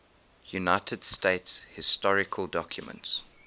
united states historical documents